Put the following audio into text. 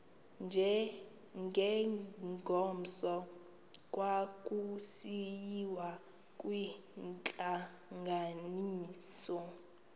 ngengomso kwakusiyiwa kwintlanganiso